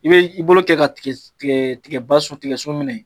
I be i bolo kɛ ka tigɛ ba tigɛ sun minɛ.